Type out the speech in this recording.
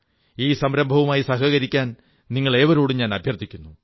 ഈ സംരംഭവുമായി സഹകരിക്കാൻ നിങ്ങളേവരോടും അഭ്യർഥിക്കുന്നു